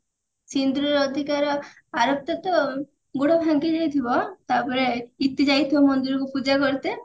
ସିନ୍ଦୁରର ଅଧିକାର t ଗୋଡ ଭାଙ୍ଗିଯାଇଥିବ ତାପରେ ଇତି ଯାଇଥିବ ମନ୍ଦିର କୁ ପୂଜା କରିତେ